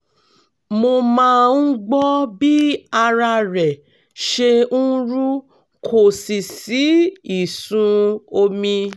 mo máa ń gbọ́ bí ara rẹ̀ ṣe ń rú kò sì sí ìsun omi